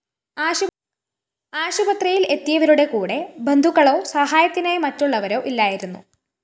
ആശുപത്രിയില്‍ എത്തിയവരുടെ കൂടെ ബന്ധുക്കളോ സഹായത്തിനായി മറ്റുള്ളവരോ ഇല്ലായിരുന്നു